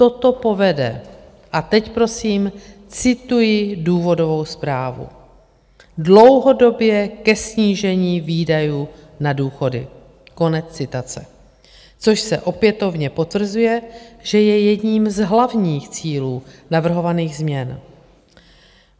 Toto povede - a teď prosím cituji důvodovou zprávu: "dlouhodobě ke snížení výdajů na důchody" - což se opětovně potvrzuje, že je jedním z hlavních cílů navrhovaných změn.